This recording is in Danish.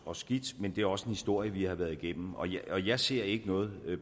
og skidt men det er også en historie vi har været igennem og jeg ser ikke noget